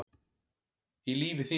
í lífi þínu